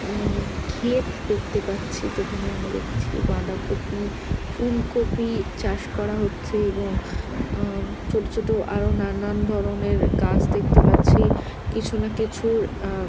উম খেত দেখতে পাচ্ছি যেখানে আমরা দেখছি বাঁধাকপি ফুলকপি চাষ করা হচ্ছে এবং অম ছোট ছোট আরো নানান ধরনের গাছ দেখতে পাচ্ছি কিছু না কিছুর আহ --